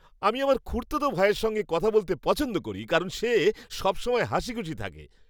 আমি আমার খুড়তুতো ভাইয়ের সঙ্গে কথা বলতে পছন্দ করি। কারণ সে সবসময় হাসিখুশি থাকে।